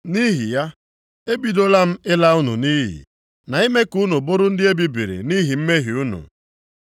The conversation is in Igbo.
Nʼihi ya, ebidola m ịla unu nʼiyi, na ime ka unu bụrụ ndị e bibiri nʼihi mmehie unu